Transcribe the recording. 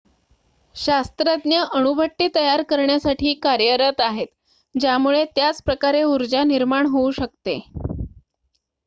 शास्त्रज्ञ अणुभट्टी तयार करण्यासाठी कार्यरत आहेत ज्यामुळे त्याच प्रकारे ऊर्जा निर्माण होऊ शकते